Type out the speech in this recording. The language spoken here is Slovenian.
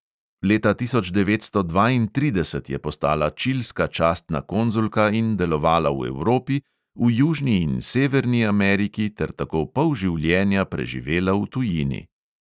Leta tisoč devetsto dvaintrideset je postala čilska častna konzulka in delovala v evropi, v južni in severni ameriki ter tako pol življenja preživela v tujini.